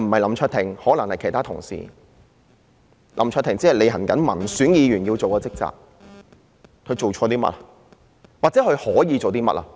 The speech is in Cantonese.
林卓廷議員只是履行民選議員的職責，試問他做錯了些甚麼，或是他可以做些甚麼？